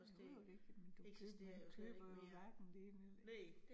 Jo jo det, men du køber du køber jo hverken det ene eller